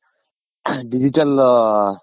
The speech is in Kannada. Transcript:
Digital